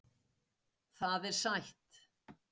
Það er sætt.